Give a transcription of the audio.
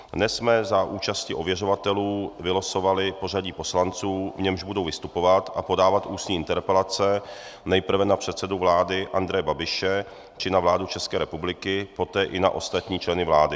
Dnes jsme za účasti ověřovatelů vylosovali pořadí poslanců, v němž budou vystupovat a podávat ústní interpelace nejprve na předsedu vlády Andreje Babiše či na vládu České republiky, poté i na ostatní členy vlády.